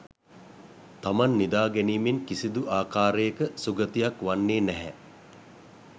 තමන් නිදා ගැනීමෙන් කිසිදු ආකාරයක සුගතියක් වන්නේ නැහැ.